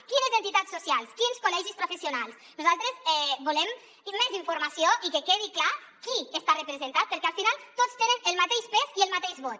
quines entitats socials quins col·legis professionals nosaltres volem més informació i que quedi clar qui hi està representat perquè al final tots tenen el mateix pes i el mateix vot